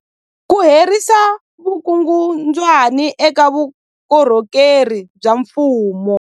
Ku herisa vukungundwani eka vukorhokeri bya mfumo.